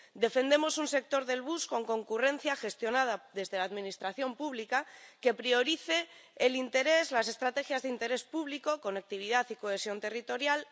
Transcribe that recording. Defendemos un sector del bus con concurrencia, gestionado desde la Administración pública, que priorice el interés, las estrategias de interés público —conectividad y cohesión territorial—